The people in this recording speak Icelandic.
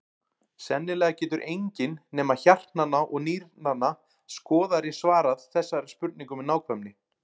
Sennilega getur enginn nema hjartnanna og nýrnanna skoðari svarað þessari spurningu með nákvæmni.